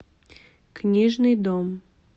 книжный дом